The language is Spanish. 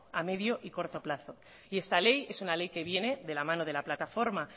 a medio y corto plazo y esta ley es una ley que viene de la mano de la plataforma